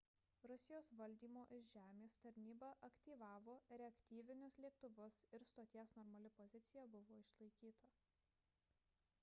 rusijos valdymo iš žemės tarnyba aktyvavo reaktyvinius lėktuvus ir stoties normali pozicija buvo išlaikyta